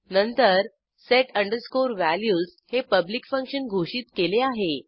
नंतर set values हे public function घोषित केले आहे